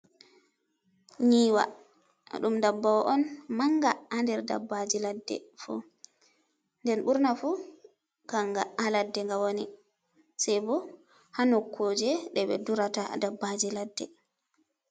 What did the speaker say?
Nyiiwa, đum ndabbawa on manga ha nder dabbaaji ladde fuu, nden 6urna fuu kanga ha ladde nga woni, sai boh ha nokkuuje đe 6e durata dabbaaji ladde.